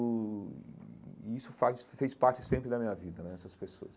Uh e isso faz fez parte sempre da minha vida né, essas pessoas.